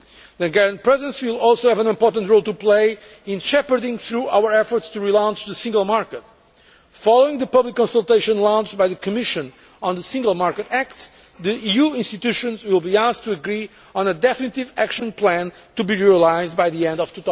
The Hungarian Presidency will also have an important role to play in shepherding through our efforts to relaunch the single market. Following the public consultation launched by the Commission on the Single Market Act, the EU institutions will be asked to agree on a definitive action plan to be realised by the end